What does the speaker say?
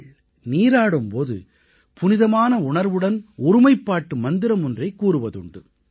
மக்கள் நீராடும் போது புனிதமான உணர்வுடன் ஒருமைப்பாட்டு மந்திரம் ஒன்றைக் கூறுவதுண்டு